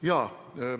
Jaa.